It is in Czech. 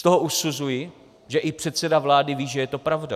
Z toho usuzuji, že i předseda vlády ví, že je to pravda.